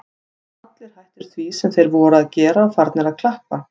Allir hættir því sem þeir voru að gera og farnir að klappa.